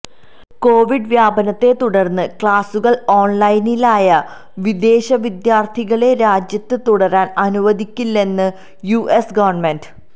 Covid വ്യാപനത്തെ തുടർന്ന് ക്ലാസുകൾ ഓൺലൈനിലായ വിദേശവിദ്യാർത്ഥികളെ രാജ്യത്ത് തുടരാൻ അനുവദിക്കില്ലെന്ന് യുഎസ് ഗവൺമെന്റ്